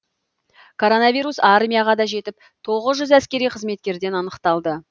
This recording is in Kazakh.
коронавирус армияға да жетіп тоғыз жүз әскери қызметкерден анықталды